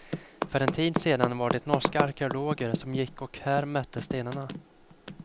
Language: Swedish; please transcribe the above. För en tid sedan var det norska arkeologer som gick och här mätte stenarna.